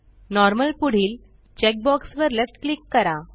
normal पुढील check box वर left click करा